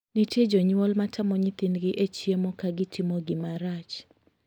Nitie jonyuol ma tamo nyithindgi e chiemo ka gitimo gima rach.